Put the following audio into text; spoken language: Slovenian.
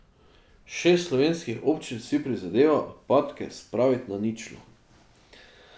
Šest slovenskih občin si prizadeva odpadke spraviti na ničlo.